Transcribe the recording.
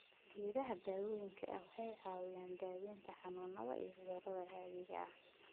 Geedaha daawooyinka waxay caawinayaan daaweynta xanuunada iyo cudurada caadiga ah.